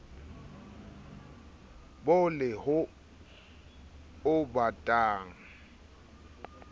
bo le ho o batang